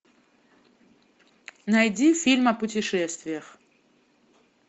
найди фильм о путешествиях